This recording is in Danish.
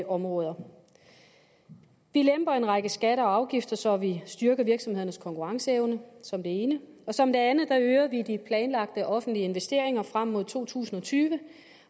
områder vi lemper en række skatter og afgifter så vi styrker virksomhedernes konkurrenceevne som det ene som det andet øger vi de planlagte offentlige investeringer frem mod to tusind og tyve